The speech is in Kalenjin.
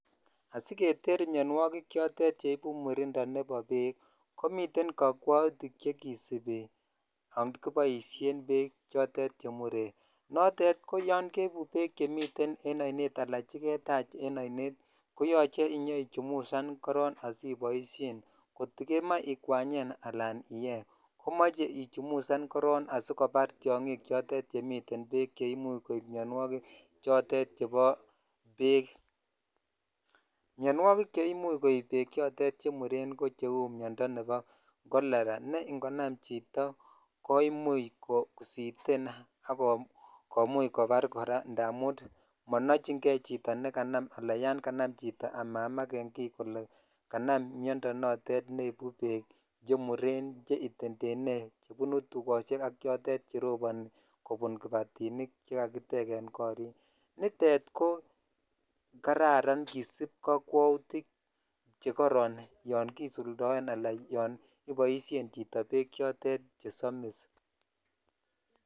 Asiketer mionwokik chotet cheibu murindo nebo beek komiten kokwoutik chekisibi yoon kiboishen beek chotet chemuren, notet ko yoon keibu beek chemiten en oinet alaa cheketach en oinet koyoche inyoichumusan korong asiboishen, kot ko kemoe ikwanyen alaan iyee komoche ichumusan korong asikobar tiong'ik chotet chemiten beek cheimuch koib mionwokik chotet chebo beek, mionwokik cheimuch koib beek chotet chemuren ko cheuu miondo nebo cholera ne ng'onam chito koimuch kositen ak kkomuch kobar kora ndamun monoching'e chito nekanam alaan yoon kanam chito amamakeng'i kolee kanam miondo notet neibu beek chmuren cheitendene chebunu tukoshek ak chotet cheroboni kobun kibatinik chekakiteken korik, nitet ko kararan kisib kokwoutik chekoron yoon kisuldoen alaan yoon iboishen chito beek chotet chesomis.